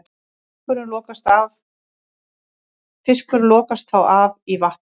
Fiskurinn lokast þá af í vatninu.